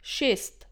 Šest?